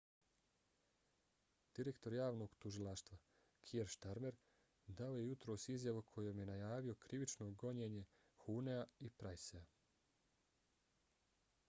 direktor javnog tužilaštva kier starmer dao je jutros izjavu kojom je najavio krivično gonjenje huhnea i prycea